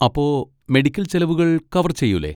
അപ്പോ മെഡിക്കൽ ചെലവുകൾ കവർ ചെയ്യൂലെ?